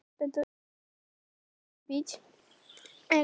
Bandarískar vísitölur lækkuðu